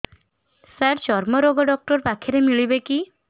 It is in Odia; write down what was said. ସାର ଚର୍ମରୋଗ ଡକ୍ଟର ପାଖରେ ମିଳିବେ କି